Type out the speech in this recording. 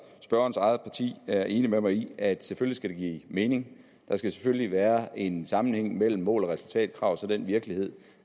spørgerens eget parti er enig med mig i at det selvfølgelig skal give mening der skal selvfølgelig være en sammenhæng mellem mål og resultatkrav og så den virkelighed